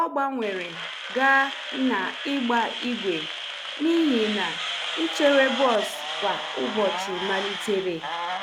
O gbanwere gaa na ịgba ígwè n’ihi na ichere bọs kwa ụbọchị malitere